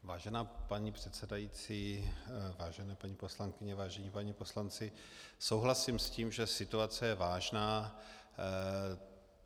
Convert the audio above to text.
Vážená paní předsedající, vážené paní poslankyně, vážení páni poslanci, souhlasím s tím, že situace je vážná.